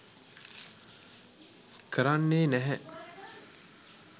කරන්නේ නැහැ.